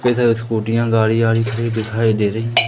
जैसे स्कूटियां गाड़ी वाड़ी भी दिखाई दे रही।